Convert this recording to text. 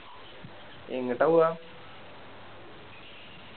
എങ്ങിട്ട പോവാ